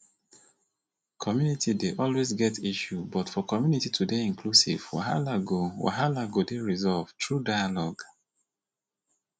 community dey always get issue but for community to dey inclusive wahala go wahala go dey resolved through dialogue